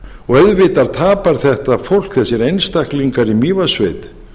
og auðvitað tapar þetta fólk þessir einstaklingar í mývatnssveit